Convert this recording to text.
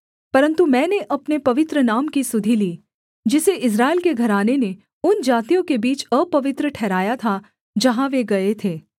परन्तु मैंने अपने पवित्र नाम की सुधि ली जिसे इस्राएल के घराने ने उन जातियों के बीच अपवित्र ठहराया था जहाँ वे गए थे